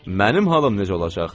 Mənim halım necə olacaq?